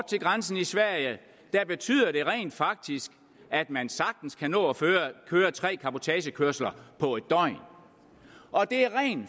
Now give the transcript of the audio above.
til grænsen i sverige betyder det rent faktisk at man sagtens kan nå at køre tre cabotagekørsler på et døgn og det er rent